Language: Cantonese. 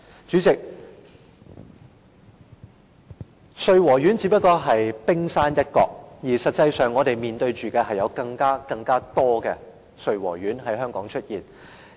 主席，穗禾苑的問題只不過是冰山一角，實際上，我們面對的是更多類似穗禾苑的問題在香港出現。